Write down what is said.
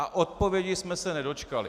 A odpovědi jsme se nedočkali.